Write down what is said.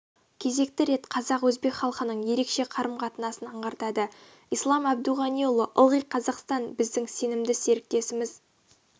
кезекті рет қазақ-өзбек халқының ерекше қарым-қатынасын аңғартады ислам әбдуғаниұлы ылғи қазақстан біздің сенімді серіктесіміз